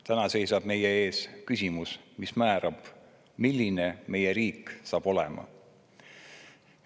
Täna seisab meie ees küsimus, mis määrab, milline meie riik saab olema.